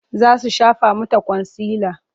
Za su shafa mata kwansila.